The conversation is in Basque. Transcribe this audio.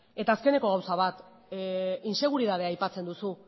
eta azkeneko gauza bat intseguritatea aipatzen duzu